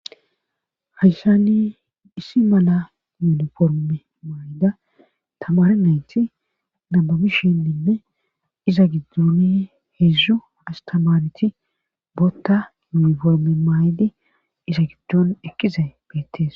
hayshani issi mala yuunoforme maayida tamare naynti nabubishin ninne iza giddoni heedzdzu astamareti bootta yuniforme maay7di iza giddon ekkiza beettees